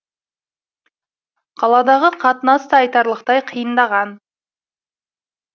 қаладағы қатынас та айтарлықтай қиындаған